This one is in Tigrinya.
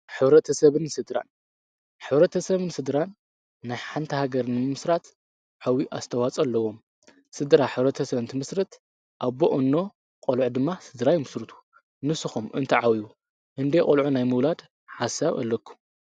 ሕ/ሰብን ስድራን፡- ሕብረተ ሰብን ስድራን ናይ ሓንቲ ሃገር ንምመሥራት ዓብዬ ኣስተዋፅኦ ኣለዎም፡፡ ስድራ ሕብረተ ሰብ እንትምሥርት ኣቦ፣ አኖ፣ ቖልዑ ድማ ስድራ ይምስርቱ ፡፡ንስኹም እንትዓብዩ እንደይ ቖልዑ ናይ ምውላድ ሓሳብ ኣለኩም?